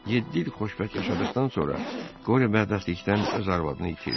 Yeddi il xoşbəxt yaşadıqdan sonra Qoriyo bədbəxtlikdən öz arvadını itirdi.